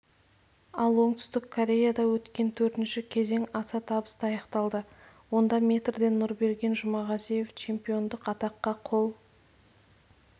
ал оңтүстік кореяда өткен төртінші кезең аса табысты аяқталды онда метрден нұрберген жұмағазиев чемпиондық атаққа қол